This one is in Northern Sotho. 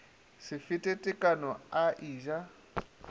se fete tekano a eja